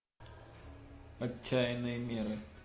отчаянные меры